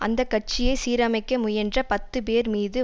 அந்த கட்சியை சீரமைக்க முயன்ற பத்து பேர் மீது